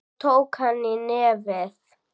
Svo tók hann í nefið.